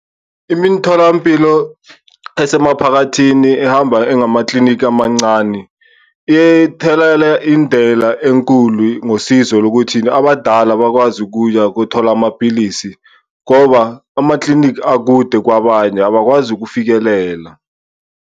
Imintholampilo esemaphakathini ehamba engamaklinikhi amancane ithethela indela enkulu, ngosizo lokuthini? Abadala bakwazi ukuya kothola amapilisi ngoba amaklinikhi akude kwabanye abakwazi ukufikelela.